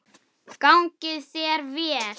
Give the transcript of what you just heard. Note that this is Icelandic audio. Gangi þér vel!